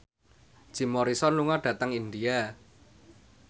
Jim Morrison lunga dhateng India